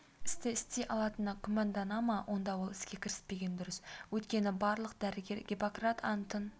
істі істей алатына күмәндана ма онда ол іске кіріспегені дұрыс өйткені барлық дәрігер гиппократ антын